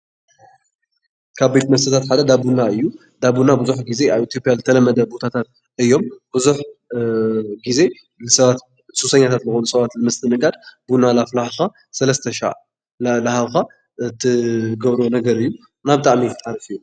ካብ ቤት መስተታት ሓደ እንዳ ቡና እዩ፡፡ እንዳ ቡና ብዙሕ ጊዜ ኣብ ኢትዮጵያ ዝተለመደ ቦታታት ዝተለመደ እዩ፡፡ ብዙሕ ጊዜ ንሰባት ሱሰኛታት ዝኾኑ ሰባት ንምስትእንጋድ ቡና እንዳፍላሕኻ ሰለስተ ሻዕ እንዳሃብካ ትገብሮ ነገር እዩ እና ብጣዕሚ ሓሪፍ እዩ።